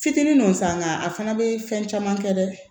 Fitinin nɔ san nka a fana bɛ fɛn caman kɛ dɛ